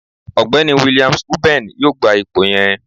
Ọgbẹni Williams Uben yoo gba ipo yẹn.